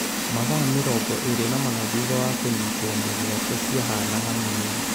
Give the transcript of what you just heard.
Mathaa mĩrongo ĩrĩ na mana thutha wa kũnyitwo mĩgwate ciahanaga mĩeri.